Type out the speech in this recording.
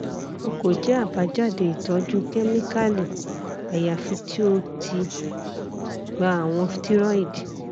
o ko jẹ abajade itọju kemikali ayafi ti o ti gba awọn steroid